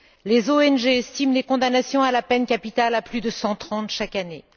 Les ONG estiment les condamnations à la peine capitale à plus de 130 chaque année.